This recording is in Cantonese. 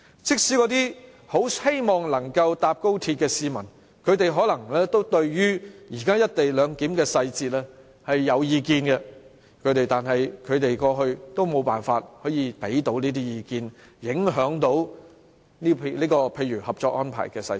即使那些期待乘搭高鐵的市民，也都可能對現時"一地兩檢"的細節有意見，但是，過去他們都無從提供意見，無法影響《合作安排》的細節。